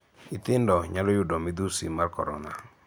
Nyithindo nyalo yudo midhusi mar korona.